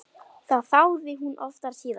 Það þáði hún oft síðar.